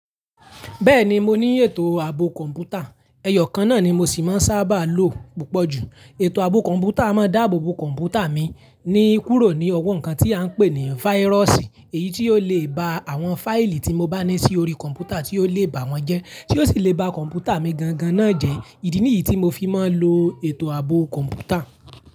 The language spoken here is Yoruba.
Bẹ́ẹ̀ni mo ní ètò ààbò kọ̀ǹpútà, ẹyọ̀ kan náà ni mo sì máa ń sábà lo púpọ̀ jù. Ètò ààbò kọ̀ǹpútà a máa dáàbò bo kọ̀ǹpútà mi ní kúrò ní owọ nǹkan tí a ń pè ní fáírọ́ọ̀sì èyí ti ó lè ba àwọn fáìlì tí mo bá ní sí orí kọ̀ǹpútà tí ó lè bà wọ́n jẹ́, tí ó sì lè ba kọ̀ǹpútà mi gangan náà jẹ́. Ìdí nìyí tí mo fi máa ń lo ètò ààbò kọ̀ǹpútà.